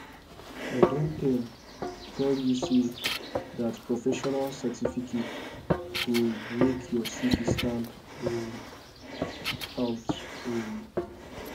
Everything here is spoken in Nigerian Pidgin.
i don tell tell you sey dat professional certificate go make your cv stand um out um